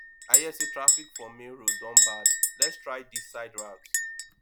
i hear say traffic for main road don bad lets try di side route